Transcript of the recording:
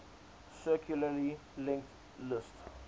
circularly linked list